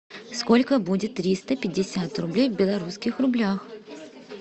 сколько будет триста пятьдесят рублей в белорусских рублях